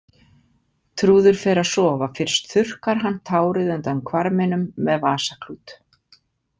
Trúður fer að sofa Fyrst þurrkar hann tárið undan hvarminum með vasaklút.